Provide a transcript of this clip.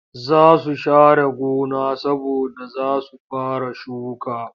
Za su share gona saboda za su fara shuka